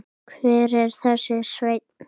Hver er þessi Sveinn?